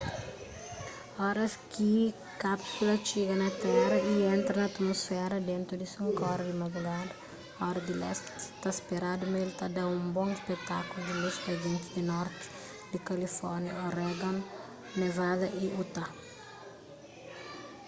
oras ki kápsula txiga na téra y entra na atmusféra dentu di 5 ora di madrugada ora di lesti ta speradu ma el ta da un bon spetákulu di lus pa gentis di norti di kalifórnia oregon nevada y utah